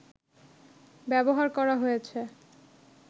ব্যবহার করা হয়েছে